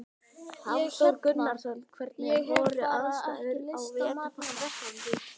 Ég hérna. ég hef bara ekki lyst á mat núna.